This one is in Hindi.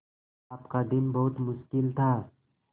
आपका दिन बहुत मुश्किल था